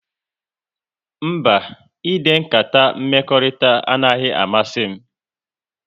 Mba, ide nkata mmekọrịta anaghị amasị m